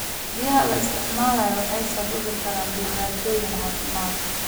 Biyaha la isticmaalo waxay sababi karaan dhibaatooyin caafimaad.